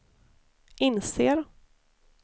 inser